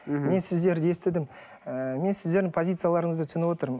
мен сіздерді естідім ы мен сіздердің позицияларыңызды түсініп отырмын